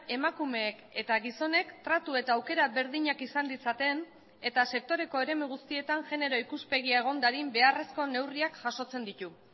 emakumeek eta gizonek tratu eta aukera berdinak izan ditzaten eta sektoreko eremu guztietan genero ikuspegia egon dadin beharrezko neurriak jasotzen ditu